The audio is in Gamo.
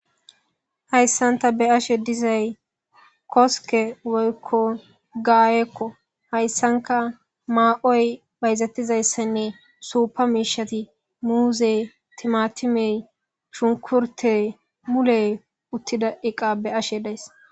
Haysan tani be'ashe dizay koske woyko gayeko haysanka ma'oy bayzetizaysa bola supha mishati muzey,timatimey ,shunkurtey muley utida eqa be'ashe days